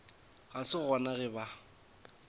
ga se gona ge ba